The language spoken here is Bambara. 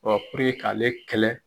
Ɔ k'ale kɛlɛ.